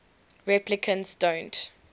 replicants don't